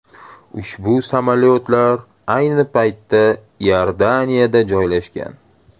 Ushbu samolyotlar ayni paytda Iordaniyada joylashgan.